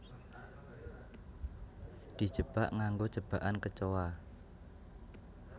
Dijebak nganggo jebakan kecoa